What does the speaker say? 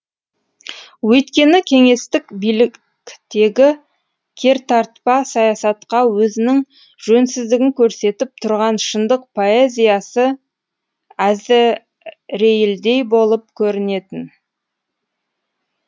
өйткені кеңестік биліктегі кертартпа саясатқа өзінің жөнсіздігін көрсетіп тұрған шындық поэзиясы әзірейілдей болып көрінетін